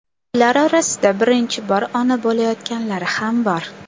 Ular orasida birinchi bor ona bo‘layotganlari ham bor.